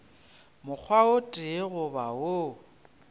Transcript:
mokgwa o tee goba wo